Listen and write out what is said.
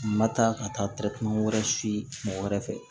Ma taa ka taa wɛrɛ siɔ wɛrɛ fɛ